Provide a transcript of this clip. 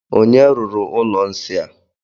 Onye wuru ụlọ nsị a?